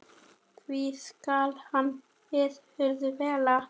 því skal hann virður vel.